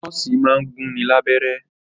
Nọ́ọ̀sì máa ń gún ni lábẹ́rẹ́